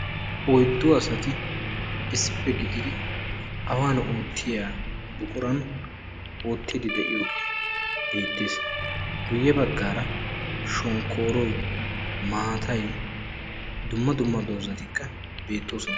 Oyddu asati issippe gididdi awan ootiya buquran ootiidi diyooge beetees, guye bagaara shonkkooroy, maaatay dumma dumma doozatikka beetoosona.